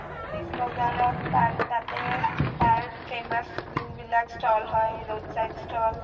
police বজাৰত তাতে তাৰ যোনবিলাক famous stall হয় roadside stall